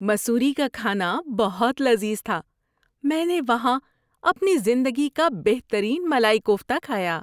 مسوری کا کھانا بہت لذیذ تھا۔ میں نے وہاں اپنی زندگی کا بہترین ملائی کوفتہ کھایا۔